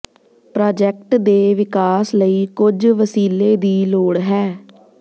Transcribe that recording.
project ਦੇ ਵਿਕਾਸ ਲਈ ਕੁਝ ਵਸੀਲੇ ਦੀ ਲੋੜ ਹੈ